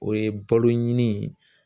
O ye balo ɲini ye.